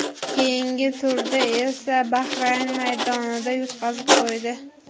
Keyingi turda esa Bahrayn maydonida yutqazib qo‘ydi.